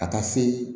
Ka taa se